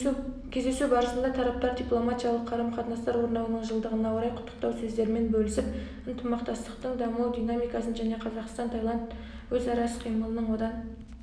кездесу барысында тараптар дипломатиялық қарым-қатынастар орнауының жылдығына орай құттықтау сөздерімен бөлісіп ынтымақтастықтың даму динамикасын және қазақстан-таиланд өзара іс-қимылының одан